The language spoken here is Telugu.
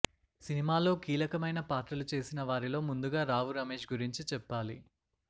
సినిమాలో కీలకమైన పాత్రలు చేసిన వారిలో ముందుగా రావు రమేష్ గురించి చెప్పాలి